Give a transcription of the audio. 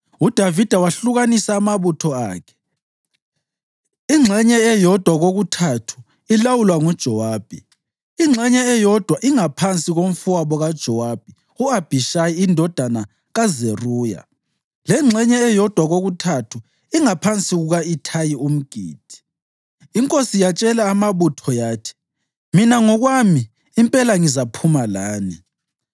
UDavida wahlukanisa amabutho akhe, ingxenye eyodwa kokuthathu ilawulwa nguJowabi, ingxenye eyodwa ingaphansi komfowabo kaJowabi u-Abhishayi indodana kaZeruya, lengxenye eyodwa kokuthathu ingaphansi kuka-Ithayi umGithi. Inkosi yatshela amabutho yathi, “Mina ngokwami impela ngizaphuma lani.”